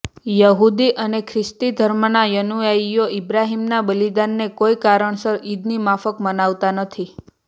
યહૂદી અને ખ્રિસ્તી ધર્મના અનુયાયીઓ ઈબ્રાહિમના બલિદાનને કોઈ કારણસર ઈદની માફક મનાવતા નથી